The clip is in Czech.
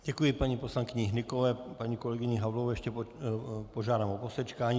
Děkuji paní poslankyni Hnykové, paní kolegyni Havlovou ještě požádám o posečkání.